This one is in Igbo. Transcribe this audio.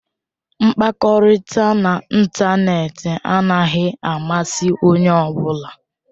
Mkpakọrịta n'ịntanetị anaghị amasị onye ọ bụla.